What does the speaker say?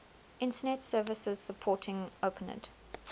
internet services supporting openid